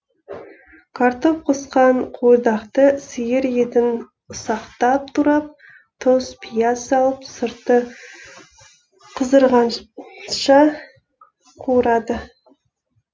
картоп қосқан қуырдақты сиыр етін ұсақтап турап тұз пияз салып сырты қызырғанша қуырады